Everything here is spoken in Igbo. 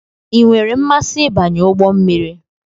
I nwere mmasị ịbanye ụgbọ mmiri?